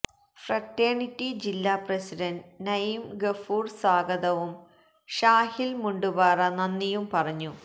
fraternity ജില്ലാ president Naeem Gafoor സ്വാഗതവും ഷാഹില് മുണ്ടുപാറ നന്ദിയും പറഞ്ഞു